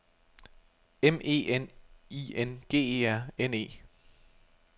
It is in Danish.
M E N I N G E R N E